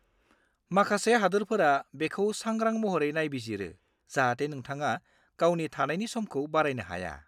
माखासे हादोरफोरा बेखौ सांग्रां महरै नायबिजिरो जाहाथे नोंथाङा गावनि थानायनि समखौ बारायनो हाया।